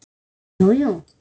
Ha, jú, jú